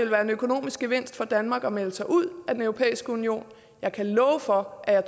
være en økonomisk gevinst for danmark at melde sig ud af den europæiske union jeg kan love for at jeg